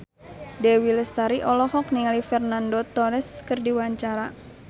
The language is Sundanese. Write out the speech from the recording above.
Dewi Lestari olohok ningali Fernando Torres keur diwawancara